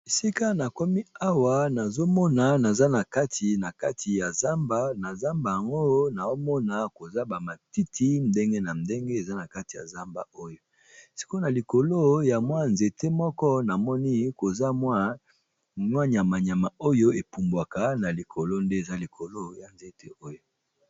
Esika nakomi awa eza nakati ya zamba nazomona matiti ya ndenge na ndenge likolo ya ba nzete namoni nyama moko epumbwaka na likolo nde eza likolo ya nzete oyo.